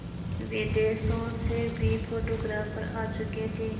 विदेशों से भी फोटोग्राफर आ चुके थे